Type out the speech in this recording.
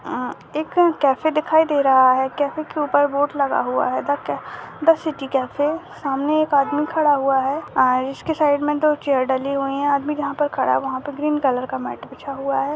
अ- एक कैफ़े दिखाई दे रहा है कैफ़े के ऊपर बोर्ड लगा हुआ है द क- द सिटी कैफ़े सामने एक आदमी खड़ा हुआ है अ-इसके साइड में दो चेयर डली हुई हैं आदमी जहाँ पे खड़ा हुआ है वहाँ पे ग्रीन कलर का मैट बिछा हुआ है।